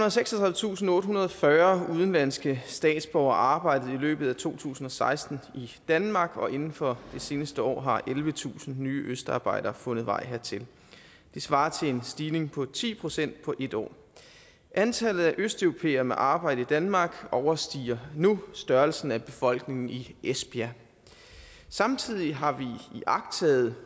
og seksogtredivetusindottehundrede og fyrre udenlandske statsborgere arbejdede i løbet af to tusind og seksten i danmark og inden for det seneste år har ellevetusind nye østarbejdere fundet vej hertil det svarer til en stigning på ti procent på en år antallet af østeuropæere med arbejde i danmark overstiger nu størrelsen af befolkningen i esbjerg samtidig har vi iagttaget